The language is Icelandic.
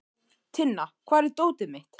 Tinna, hvar er dótið mitt?